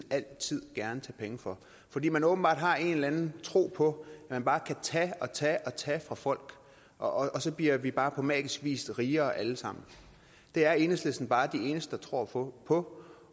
altid gerne tage penge fra fordi man åbenbart har en eller anden tro på at man bare kan tage og tage og tage fra folk og så bliver vi bare på magisk vis rigere alle sammen det er enhedslisten bare de eneste der tror på på